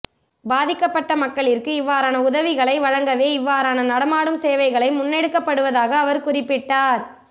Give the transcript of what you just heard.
பாதிக்கப்பட்ட மக்களிற்கு இவ்ாறான உதவிகளை வழங்கவே இவ்வாறான நடமாடும் சேவைகள் முன்னெடுக்கப்படுவதாக அவர் குறிப்பிட்டார்